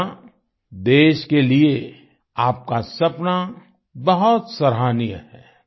नव्या देश के लिए आपका सपना बहुत सराहनीय है